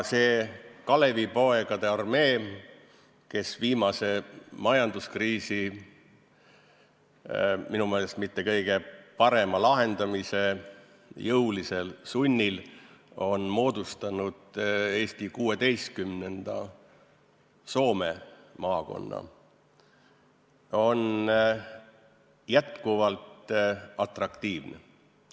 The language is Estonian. See Kalevipoegade armee, kes viimase majanduskriisi minu meelest mitte kõige parema lahendamise jõulisel sunnil on moodustanud Eesti 16., Soome maakonna, on jätkuvalt atraktiivne.